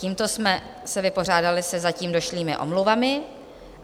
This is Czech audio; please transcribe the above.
Tímto jsme se vypořádali se zatím došlými omluvami.